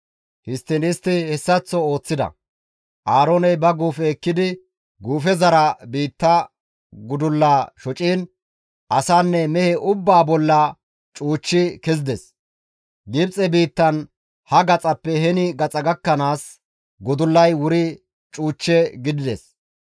Histtiin istti hessaththo ooththida; Aarooney ba guufe ekkidi guufezara biitta gudullaa shociin asanne mehe ubbaa bolla cuuchchi kezides. Gibxe biittan ha gaxappe heni gaxa gakkanaas gudullay wuri cuuch gidides.